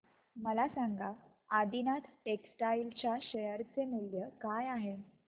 मला सांगा आदिनाथ टेक्स्टटाइल च्या शेअर चे मूल्य काय आहे